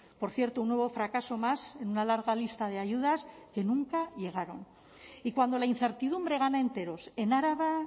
por cierto un nuevo fracaso más en una larga lista de ayudas que nunca llegaron y cuando la incertidumbre gana enteros en araba